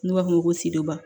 N'u b'a f'o ma ko siduba